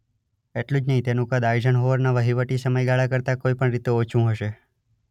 એટલું જ નહીં તેનું કદ આઇઝનહોવરના વહીવટી સમયગાળા કરતાં કોઈ પણ રીતે ઓછું હશે.